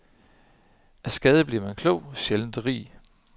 Af skade bliver man klog, sjældent rig.